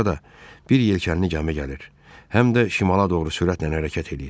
Sonra da bir yelkənli gəmi gəlir, həm də şimala doğru sürətlə hərəkət eləyir.